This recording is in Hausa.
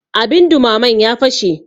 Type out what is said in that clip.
abin dumamen ya fashe